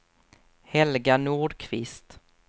Helga Nordqvist